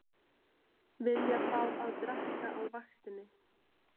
Vilja fá að drekka á vaktinni